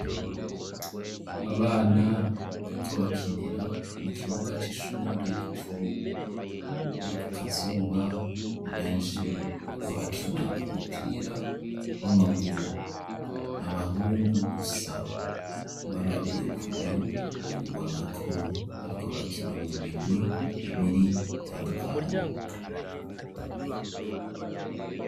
Abana bariko bakinira mu kibuga c'ishure rikuru barikukazuba ni benshi bariko bakina umupira w'amaguru n'abahungu gusa ubarabiyekure ubona ko bariko bakina mu migwi ibiri itandukanye.